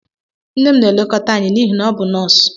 Nne m na-elekọta anyị n'ihi na ọ bụ nọọsụ.